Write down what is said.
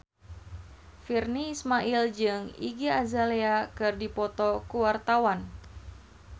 Virnie Ismail jeung Iggy Azalea keur dipoto ku wartawan